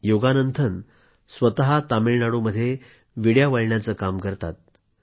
योगानंथन स्वतः तामिळनाडूमध्ये विड्या वळण्याचे काम करतात